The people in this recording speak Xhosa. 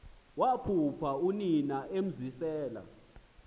waphupha unina emzisela